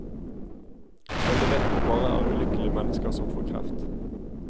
Alle vet at det bare er ulykkelige mennesker som får kreft.